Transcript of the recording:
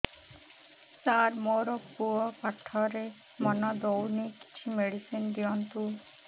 ସାର ମୋର ପୁଅ ପାଠରେ ମନ ଦଉନି କିଛି ମେଡିସିନ ଦିଅନ୍ତୁ